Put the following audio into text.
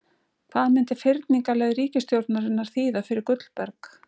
Hvað myndi fyrningarleið ríkisstjórnarinnar þýða fyrir Gullberg?